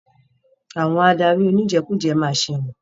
Àwọn adarí oníjẹkújẹ ma ṣẹ̀wọ̀n.